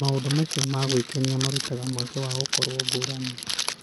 Maũndũ macio ma gwĩkenia marutaga mweke wa gũkorũo ngũrani.